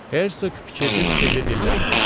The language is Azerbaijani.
Hersoq fikirli-fikirli dilləndi.